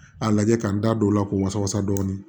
A lajɛ k'a da don o la k'o wasa dɔɔnin